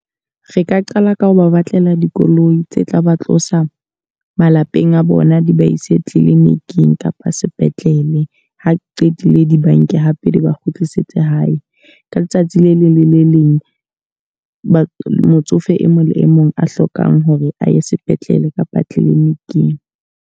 Re ka qala ka ho ba batlela dikoloi tse tla ba tlosa malapeng a bona, di ba ise clinic-ing kapa sepetlele. Ha di qetile di banke hape di ba kgutlisetse hae. Ka letsatsi le leng le le leng motsofe e mong le e mong a hlokang hore a ye sepetlele kapa clinic-ing.